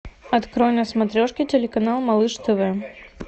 открой на смотрешке телеканал малыш тв